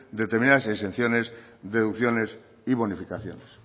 determinadas exenciones deducciones y bonificaciones